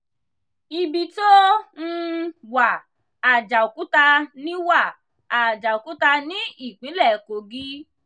ibi tó um wà àjàòkúta ní wà àjàòkúta ní ìpínlẹ̀ kogí